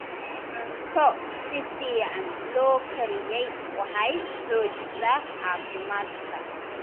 Cunto si fiican loo kariyey waxay xoojisaa caafimaadka.